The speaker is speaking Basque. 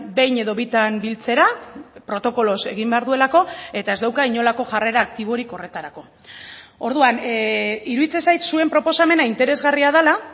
behin edo bitan biltzera protokoloz egin behar duelako eta ez dauka inolako jarrera aktiborik horretarako orduan iruditzen zait zuen proposamena interesgarria dela